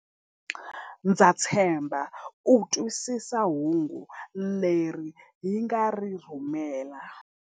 Ndza tshemba u twisisa hungu leri hi nga ri rhumela.